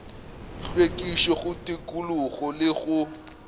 hlwekišo go tikologo le go